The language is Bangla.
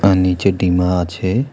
তার নীচে ডিমা আছে।